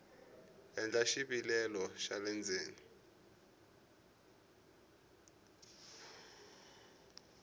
endla xivilelo xa le ndzeni